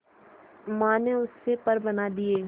मां ने उससे पर बना दिए